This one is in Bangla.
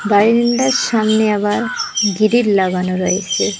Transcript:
বাইরিন্দার সামনে আবার গিরিল লাগানো রয়েছে।